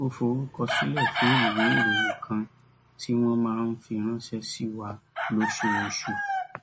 ó forúkọ sílè fún ìwé ìròyìn kan tí wón máa ń fi ránṣé sí wa lóṣooṣù